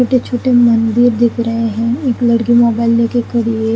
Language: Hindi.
छोटे छोटे मंदिर दिख रहे है एक लड़की मोबाइल लेके खड़ी है।